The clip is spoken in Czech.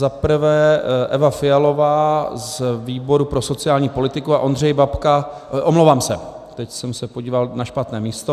Za prvé Eva Fialová z výboru pro sociální politiku a Ondřej Babka - omlouvám se, teď jsem se podíval na špatné místo.